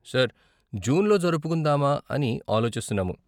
Sir, జూన్లో జరుపుకుందామా అని ఆలోచిస్తున్నాము.